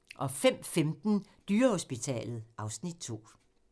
05:15: Dyrehospitalet (Afs. 2)